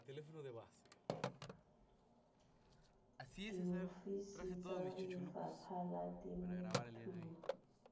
diofising tsa lefapha la temothuo